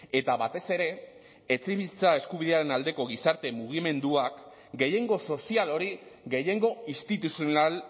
eta batez ere etxebizitza eskubidearen aldeko gizarte mugimenduak gehiengo sozial hori gehiengo instituzional